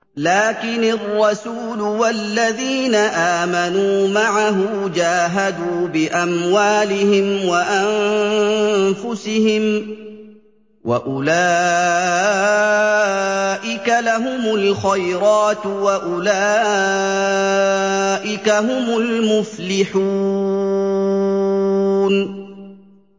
لَٰكِنِ الرَّسُولُ وَالَّذِينَ آمَنُوا مَعَهُ جَاهَدُوا بِأَمْوَالِهِمْ وَأَنفُسِهِمْ ۚ وَأُولَٰئِكَ لَهُمُ الْخَيْرَاتُ ۖ وَأُولَٰئِكَ هُمُ الْمُفْلِحُونَ